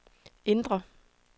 indre